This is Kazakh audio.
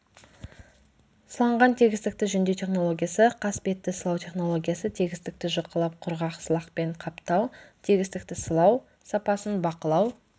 сыланған тегістікті жөндеу технологиясы қасбетті сылау технологиясы тегістікті жұқалап құрғақ сылақпен қаптау тегістікті сылау сапасын бақылау